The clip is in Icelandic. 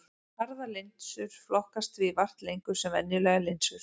Harðar linsur flokkast því vart lengur sem venjulegar linsur.